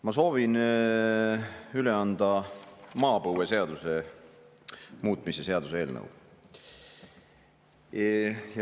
Ma soovin üle anda maapõueseaduse muutmise seaduse eelnõu.